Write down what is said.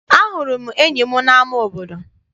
Ahụrụ m enyi m n'ama obodo.